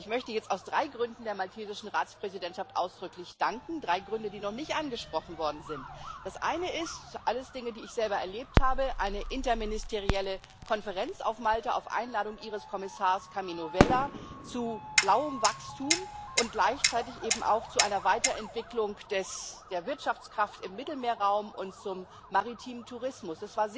Ich möchte jetzt aus drei Gründen der maltesischen Ratspräsidentschaft ausdrücklich danken drei Gründen, die noch nicht angesprochen worden sind Das Eine ist alles Dinge, die ich selber erlebt habe eine interministerielle Konferenz auf Malta, auf Einladung Ihres Kommissars Karmenu Vella, zu blauem Wachstum und gleichzeitig eben auch zu einer Weiterentwicklung der Wirtschaftskraft im Mittelmeerraum und zum maritimen Tourismus.